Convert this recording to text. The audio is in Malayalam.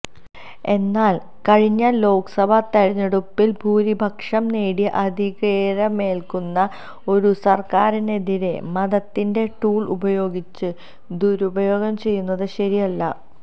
എന്നാല് കഴിഞ്ഞ ലോക്സഭാ തെരഞ്ഞെടുപ്പില് ഭൂരിപക്ഷം നേടി അധികേരമേല്ക്കുന്ന ഒരു സര്ക്കാറിനെതിരെ മതത്തിന്റെ ടൂള് ഉപയോഗിച്ച് ദുരുപയോഗം ചെയ്യുന്നത് ശരിയല്ല